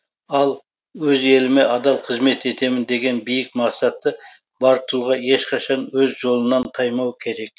ал өз еліме адал қызмет етемін деген биік мақсаты бар тұлға ешқашан өз жолынан таймауы керек